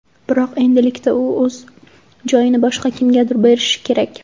Biroq endilikda u o‘z joyini boshqa kimgadir berishi kerak.